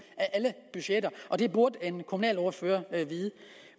af alle budgetter og det burde en kommunalordfører vide